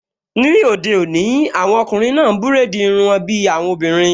Ní òde òní, àwọn ọkùnrin náà n búrèdì irun wọn bí àwọn obìnrin